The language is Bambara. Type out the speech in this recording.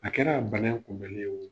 A kɛra bana in kunbɛnni ye oo